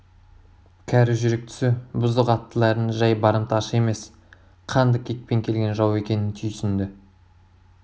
кәрі жүрек түсі бұзық аттылардың жай барымташы емес қанды кекпен келген жау екенін түйсінді